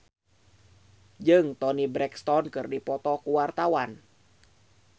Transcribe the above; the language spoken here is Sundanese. Muhamad Kautsar Hikmat jeung Toni Brexton keur dipoto ku wartawan